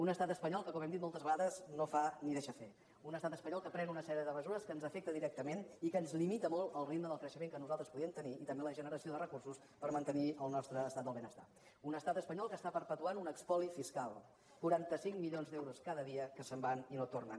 un estat espanyol que com hem dit moltes vegades no fa ni deixa fer un estat espanyol que pren una sèrie de mesures que ens afecten directament i que ens limita molt el ritme del creixement que nosaltres podríem tenir i també la generació de recursos per mantenir el nostre estat del benestar un estat espanyol que està perpetuant un espoli fiscal quaranta cinc milions d’euros cada dia que se’n van i no tornen